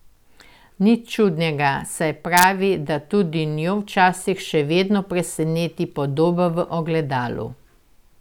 Nič čudnega, saj pravi, da tudi njo včasih še vedno preseneti podoba v ogledalu.